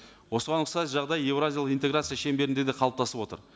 осыған ұқсас жағдай еуразиялық интеграция шеңберінде де қалыптасып отыр